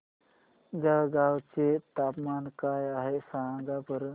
जळगाव चे तापमान काय आहे सांगा बरं